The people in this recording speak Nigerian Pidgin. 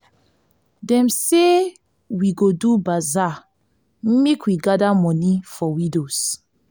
dem say we go do bazaar make we gather moni for widows.